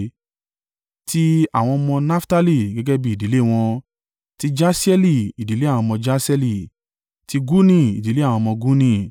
Ti àwọn ọmọ Naftali gẹ́gẹ́ bí ìdílé wọn: ti Jasieli, ìdílé àwọn ọmọ Jaseeli: ti Guni, ìdílé àwọn ọmọ Guni;